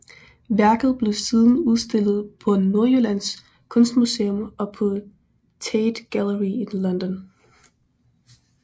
Værket blev siden udstillet på Nordjyllands Kunstmuseum og på Tate Gallery i London